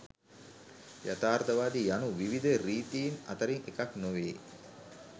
යථාර්ථවාදය යනු විවිධ රීතීන් අතරින් එකක් නොවේ.